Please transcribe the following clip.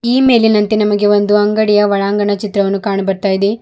ಈ ಮೇಲಿನಂತೆ ನಮಗೆ ಒಂದು ಅಂಗಡಿಯ ಒಳಾಂಗನ ಚಿತ್ರವನ್ನು ಕಾಣು ಬರ್ತಾ ಇದೆ.